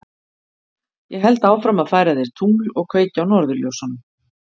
Ég held áfram að færa þér tungl og kveikja á norðurljósunum.